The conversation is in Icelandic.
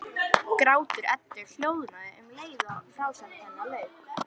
Grátur Eddu hljóðnaði um leið og frásögn hennar lauk.